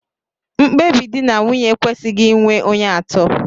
Mkpebi di na nwunye ekwesịghị inwe onye atọ